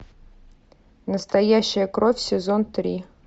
настоящая кровь сезон три